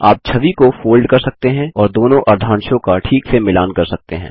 आप छवि को फोल्ड कर सकते हैं और दोनों अर्धांशों का ठीक से मिलान कर सकते हैं